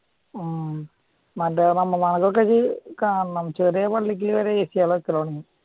ഉം ചെറിയ പള്ളിക്കു വരേം AC കള് വെച്ച് തുടങ്ങി